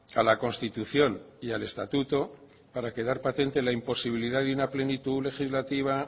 a la constitución y al estatuto para quedar patente la imposibilidad de una plenitud legislativa